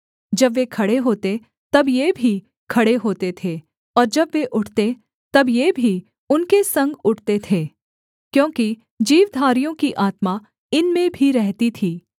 जब वे खड़े होते तब ये भी खड़े होते थे और जब वे उठते तब ये भी उनके संग उठते थे क्योंकि जीवधारियों की आत्मा इनमें भी रहती थी